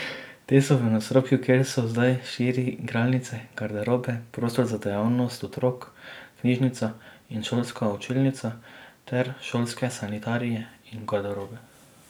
Te so v nadstropju, kjer so zdaj štiri igralnice, garderobe, prostor za dejavnost otrok, knjižnica in šolska učilnica ter šolske sanitarije in garderobe.